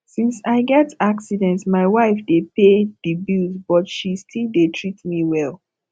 since i get accident my wife dey pay the bills but she still dey treat me well